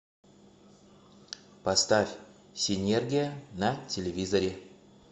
поставь синергия на телевизоре